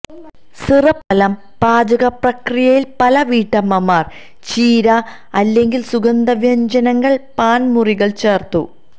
syrup ഫലം പാചക പ്രക്രിയയിൽ പല വീട്ടമ്മമാർ ചീര അല്ലെങ്കിൽ സുഗന്ധവ്യഞ്ജനങ്ങൾ പാൻ മുറികൾ ചേർത്തു